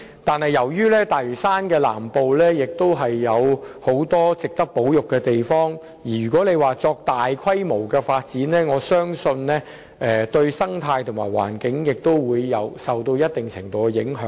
但由於大嶼山南部亦有很多值得保育的地方，如要作大規模發展，我相信對該區的生態和環境會造成一定程度的影響。